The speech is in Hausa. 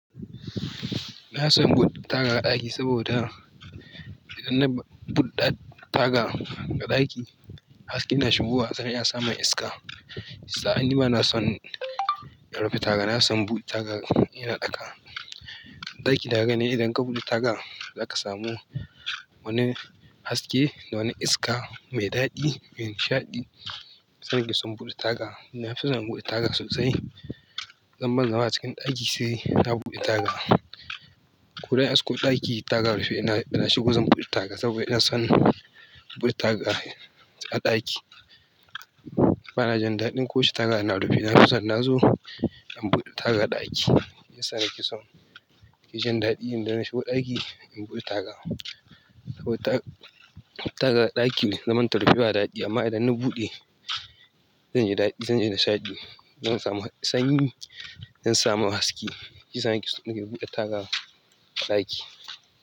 Na son buɗe taga a ɗaki saboda idan na buɗe taga a ɗaki, haske na shigowa zan iya samun iska. Sa'an nan ba na son rufe taga. Na son in buɗe taga ina ɗaka. Ɗaki na ka gane idan ka buɗe taga za ka samu wani haske da wani iska mai daɗi mai nishaɗi. So nake in buɗe taga. Na fi son na buɗe taga sosai. Don ban zama a cikin ɗaki sai na buɗe taga. Ko dai aske ɗaki taga rufe idan na shigo zan buɗe taga saboda ina son buɗe taga a ɗaki ba na jin daɗin ko yaushe taga yana rufe. Na fi son da nazo in buɗe taga a ɗaki. Ya sa nake son ki jin daɗi idan na shigo ɗaki in buɗe taga. Saboda taga a ɗaki ne zaman ta rufe ba daɗi amma idan na buɗe zai yi daɗi, zai yi nishaɗi. Zan samu sanyi, zan samu haske. Shiyasa nake nake buɗe taga a ɗaki.